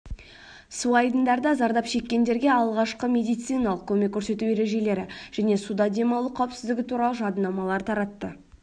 суайдындарда зардап шеккендерге алғашқы медициналық көмек көрсету ережелері және суда демалу қауіпсіздігі туралы жадынамалар таратты